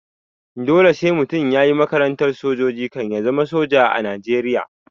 Dole sai mutum yayi makarantar sojoji kan ya zama soja a najeriya